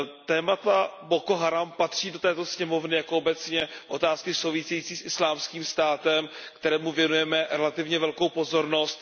Téma Boko Haram patří do této sněmovny jako obecně otázky související s Islámským státem, kterému věnujeme relativně velkou pozornost.